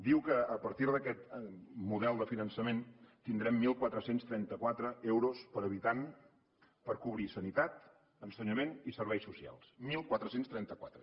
diu que a partir d’aquest model de finançament tindrem catorze trenta quatre euros per habitant per cobrir sanitat ensenyament i serveis socials catorze trenta quatre